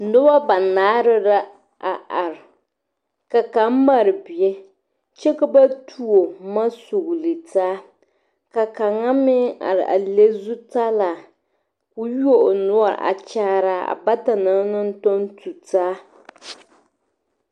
Noba banaare la a are ka kaŋa mare bie kyɛ ka ba tuo boma sugele taa ka kaŋa meŋ are a le zutara ka o yuo o noɔre a kyaara bata na naŋ tɔŋ tu taa